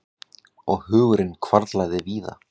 Og hugurinn hvarflaði víða.